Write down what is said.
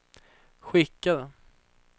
skickade